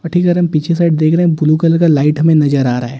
और ठीक अगर हम पीछे साइड देख रहे हैं ब्लू कलर का लाइट हमें नजर आ रहा है।